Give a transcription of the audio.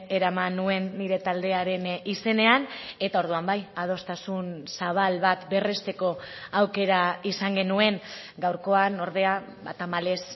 eraman nuen nire taldearen izenean eta orduan bai adostasun zabal bat berresteko aukera izan genuen gaurkoan ordea ba tamalez